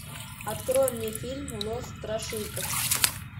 открой мне фильм лос страшилкас